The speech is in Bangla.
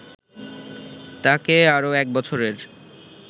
তাঁকে আরও এক বছরের